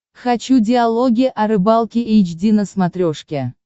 хочу диалоги о рыбалке эйч ди на смотрешке